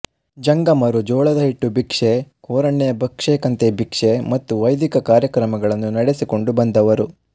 ಜಂಗಮರು ಜೋಳದ ಹಿಟ್ಟು ಭಿಕ್ಷೆ ಕೋರಣ್ಯ ಭಕ್ಷೆ ಕಂತೆ ಭಿಕ್ಷೆ ಮತ್ತು ವೈದಿಕ ಕಾರ್ಯಕ್ರಮಗಳನ್ನು ನೆಡೆಸಿಕೊಂಡು ಬಂದವರು